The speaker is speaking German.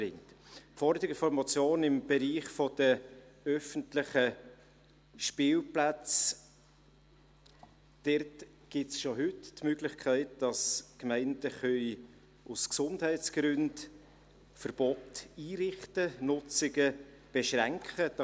Zu den Forderungen der Motion im Bereich der öffentlichen Spielplätze: Dort gibt es schon heute die Möglichkeit, dass Gemeinden aus Gesundheitsgründen Verbote einrichten und Benutzungen beschränken können.